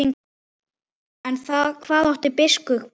En hvað átti biskup við?